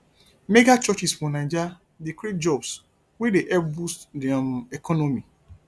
megachurches for naija dey create jobs wey dey help boost di um economy